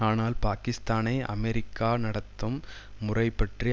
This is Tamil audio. ஆனால் பாக்கிஸ்தானை அமெரிக்கா நடத்தும் முறைபற்றி